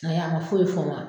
A yi a ma foyi fɔ n ma